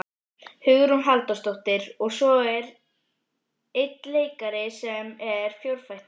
Hugrún Halldórsdóttir: Og svo er einn leikari sem er fjórfættur?